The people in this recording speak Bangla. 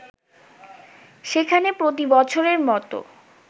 সেখানে প্রতিবছরের মতো